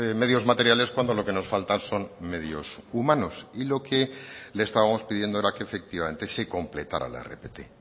medios materiales cuando lo que nos faltan son medios humanos y lo que le estábamos pidiendo era que efectivamente se completara la rpt